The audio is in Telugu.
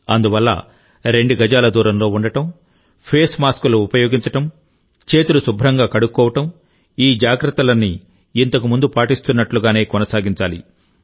అందువల్ల రెండు గజాల దూరంలో ఉండడం ఫేస్ మాస్క్లు ఉపయోగించడం చేతులు కడుక్కోవడం ఈ జాగ్రత్తలన్నీఇంతకుముందు పాటిస్తున్నట్టుగానే కొనసాగించాలి